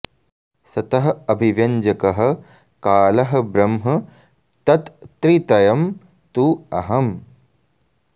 सतः अभिव्यञ्जकः कालः ब्रह्म तत् त्रितयं तु अहम्